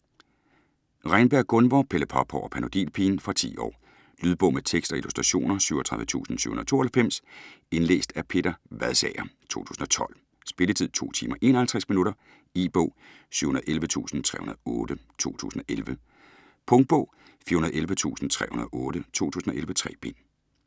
Reynberg, Gunvor: Pelle Pophår og Panodilpigen Fra 10 år. Lydbog med tekst og illustrationer 37792 Indlæst af Peter Vadsager, 2012. Spilletid: 2 timer, 51 minutter. E-bog 711308 2011. Punktbog 411308 2011. 3 bind.